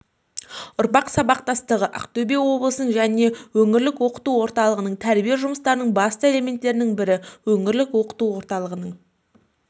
ұрпақтар сабақтастығы ақтөбе облысының және өңірлік оқыту орталығының тәрбие жұмыстарының басты элементтерінің бірі өңірлік оқыту орталығының